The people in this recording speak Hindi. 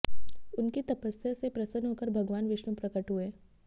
उनकी तपस्या से प्रसन्न होकर भगवान विष्णु प्रकट हुए